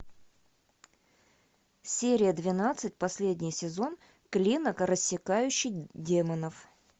серия двенадцать последний сезон клинок рассекающий демонов